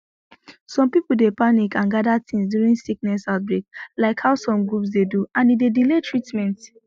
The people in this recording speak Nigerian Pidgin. some people dey panic and gather things during sickness outbreak like how some groups dey do and e dey delay treatment